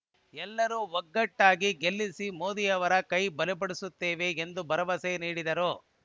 ಎಲ್ಲರೂ ಒಗ್ಗಟ್ಟಾಗಿ ಗೆಲ್ಲಿಸಿ ಮೋದಿರವರ ಕೈಬಲಪಡಿಸುತ್ತೇವೆ ಎಂದು ಭರವಸೆ ನೀಡಿದರು